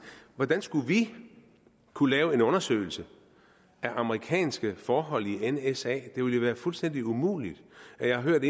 hvordan skulle vi kunne lave en undersøgelse af amerikanske forhold i nsa det ville jo være fuldstændig umuligt jeg har hørt